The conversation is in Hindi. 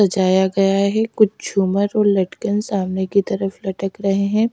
सजाया गया है कुछ झूमर और लटकन सामने की तरफ लटक रहे हैं।